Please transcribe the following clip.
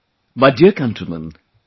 My dear countrymen,